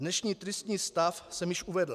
Dnešní tristní stav jsem již uvedl.